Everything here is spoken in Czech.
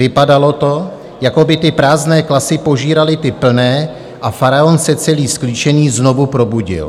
Vypadalo to, jako by ty prázdné klasy požíraly ty plné, a faraon se celý sklíčený znovu probudil.